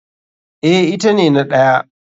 Eh ita ne na ɗaya.